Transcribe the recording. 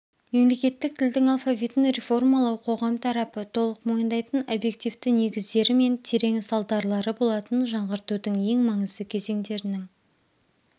мемлекеттік тілдің алфавитін реформалау қоғам тарапы толық мойындайтын объективті негіздері мен терең салдарлары болатын жаңғыртудың ең маңызды кезеңдерінің